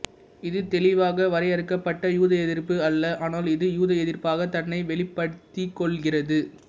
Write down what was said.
இது தெளிவாக வரையறுக்கப்பட்ட யூதஎதிர்ப்பு அல்ல ஆனால் இது யூதஎதிர்ப்பாகத் தன்னை வெளிப்படுத்திக் கொள்கிறது